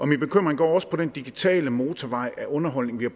min bekymring går også på den digitale motorvej af underholdning vi har